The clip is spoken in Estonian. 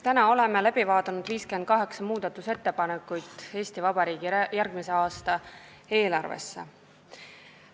Täna oleme läbi vaadanud 58 muudatusettepanekut Eesti Vabariigi järgmise aasta eelarve kohta.